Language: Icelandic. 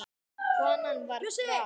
Konan var frá